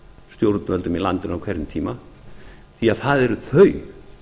stjórnvöldum í landinu á hverjum tíma því að það eru þau